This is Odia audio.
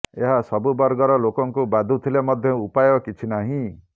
ଏହା ସବୁ ବର୍ଗର ଲୋକଙ୍କୁ ବାଧୁଥିଲେ ମଧ୍ୟ ଉପାୟ କିଛି ନାହିଁ